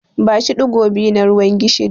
Bashi ɗigo biyu na ruwan gishiri.